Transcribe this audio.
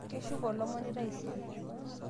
keshoko olomoni taisere